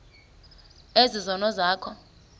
ezi zono zakho